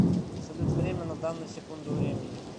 салют время на данную секунду времени